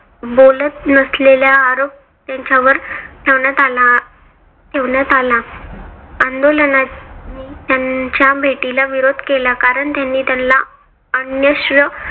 बोलत नसलेल्या आरोप त्यांच्यावर ठेवण्यात आला ठेवण्यात आला. आंदोलकांनी त्यांच्या भेटीला विरोध केला कारण त्यांनी त्याला अन्यश्र